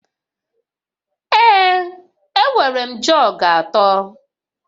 Ee, enwere m jọg atọ